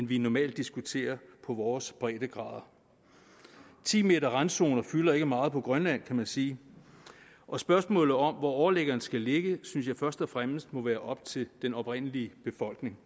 vi normalt diskuterer det på vores breddegrader ti meterrandzoner fylder ikke meget på grønland kan man sige og spørgsmålet om hvor overliggeren skal ligge synes jeg først og fremmest må være op til den oprindelige befolkning